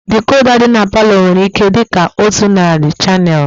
Dikoda dị n'palo nwere ihe dịka otu narị shanel